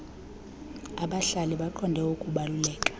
abahlali baqonde ukubaluleka